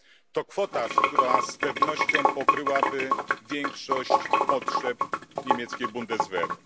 To kwota, która z pewnością pokryłaby większość potrzeb niemieckiej Bundeswehry.